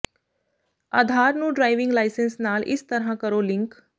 ਆਧਾਰ ਨੂੰ driving licence ਨਾਲ ਇਸ ਤਰ੍ਹਾਂ ਕਰੋ ਲਿੰਕ